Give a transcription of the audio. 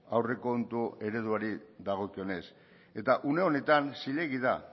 aurrekontu ereduari dagokionez eta une honetan zilegi da